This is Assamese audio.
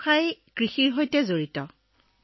মই কৃষিকৰ্মৰ লগত জড়িত কাম কৰো ছাৰ